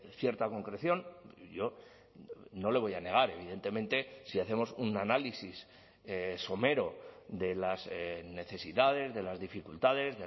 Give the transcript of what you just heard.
cierta concreción yo no le voy a negar evidentemente si hacemos un análisis somero de las necesidades de las dificultades